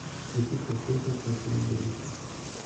включи колхозник михаил борисов